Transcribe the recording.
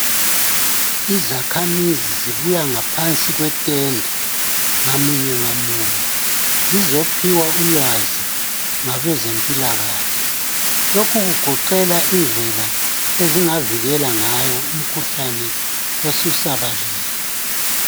Izakhamizi zibuya ngaphansi kwetende ngamunye ngamunye. Zizophiwa ulwazi ngabezempilakahle, lokhu kugoqela indlela ezingavikela ngayo umkhuhlane osusabalele.